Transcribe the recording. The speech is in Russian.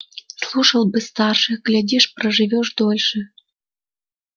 слушал бы старших глядишь проживёшь подольше